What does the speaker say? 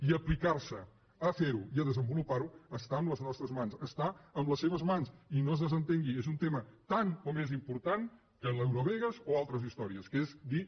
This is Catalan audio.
i aplicar se a fer ho i a desenvolupar ho està en les nostres mans està en les seves mans i no se’n desentengui és un tema tan o més important que l’eurovegas o altres històries que és dir